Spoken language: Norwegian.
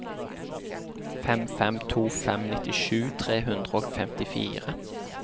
fem fem to fem nittisju tre hundre og femtifire